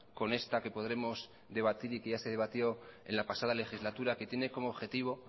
con esta que podremos debatir y que ya se debatió en la pasada legislatura que tiene como objetivo